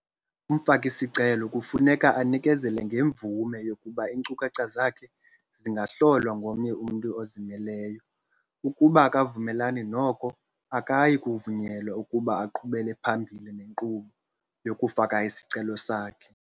Umfaki-sicelo kufuneka anikezele ngemvume yokuba iinkcukacha zakhe zingahlolwa ngomnye umntu ozimeleyo ukuba akavumelani noko, akayikuvunyelwa ukuba aqhubele phambili nenkqubo yokufaka isicelo sakhe.